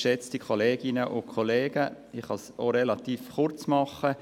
Ich kann mich recht kurz fassen: